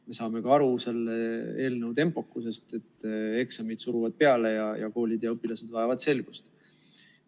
Me saame ka aru selle eelnõu tempokusest, et eksamid suruvad peale ja koolid ja õpilased vajavad selgust.